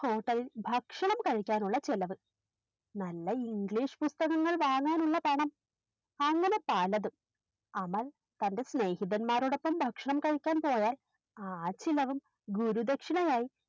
Hotel ഇൽ ഭക്ഷണം കഴിക്കാനുള്ള ചെലവ് നല്ല English പുസ്തകങ്ങൾ വാങ്ങാനുള്ള പണം അങ്ങനെ പലതും അമൽ തൻറെ സ്നേഹിതൻമാരോടൊപ്പം ഭക്ഷണം കഴിക്കാൻ പോയാൽ ആചിലവൻ ഗുരുദക്ഷിണയായി